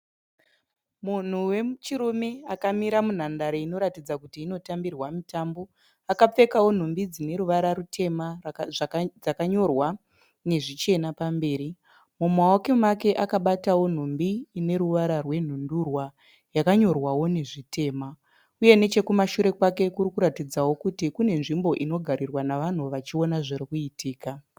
Munhu wechirume akamira munhandare inoratidza kuti inotambirwa mitambo. Akapfekawo nhumbi dzineruvara rutema dzakanyorwa nezvichena pamberi. Mumawoko make akabatawo nhumbi ineruvara rwenhundurwa yakanyorwawo nezvitema uye nechekumashure kwake kurikuratidzawo kuti kune nzvimbo inogarirwa nevanhu vachiona zvirikuitika.